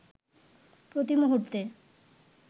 প্রতি মুহূর্তে